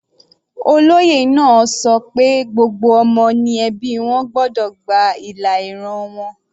Olóyè náà ṣọ pé gbogbo ọmọ ní ẹbí wọn gbọ́dọ̀ gba ìlà ìran wọn.